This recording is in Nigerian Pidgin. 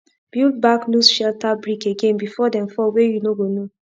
build back loose shelter brick again before dem fall wey you no go know